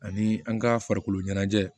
Ani an ka farikoloɲɛnajɛ